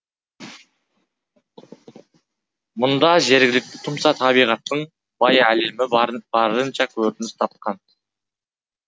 мұнда жергілікті тұмса табиғаттың бай әлемі барынша көрініс тапқан